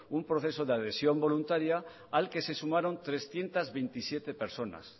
un proceso de adhesión voluntaria al que se sumaron trescientos veintisiete personas